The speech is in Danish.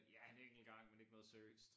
Ja en enkelt gang men ikke noget seriøst